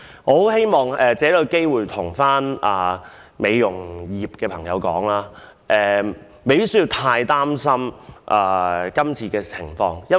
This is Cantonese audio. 我希望藉此機會告訴美容業界的人士，他們不需要太擔心《條例草案》。